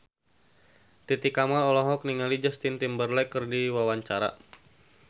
Titi Kamal olohok ningali Justin Timberlake keur diwawancara